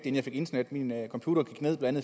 jeg fik internet at min computer gik ned blandt